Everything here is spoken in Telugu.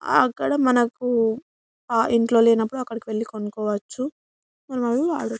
అక్కడ మనకు ఆ ఇంట్లో లేనప్పుడు అక్కడకు వెళ్ళి కొనుకోవచ్చు --.